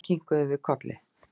Enn kinkuðum við kolli.